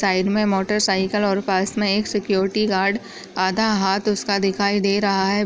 Side मे motorcycle और पास मे एक सिक्युरिटी गार्ड आधा हाथ उसका दिखाई दे रहा है।